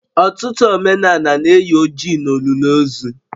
Ọtụtụ omenala na-eyi oji n'olili ozu